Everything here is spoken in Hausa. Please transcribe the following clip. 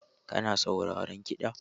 Kana sauraron kiɗa?